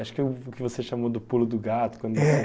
Acho que é o que você chamou do pulo do gato. É...